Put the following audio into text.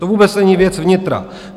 To vůbec není věc vnitra.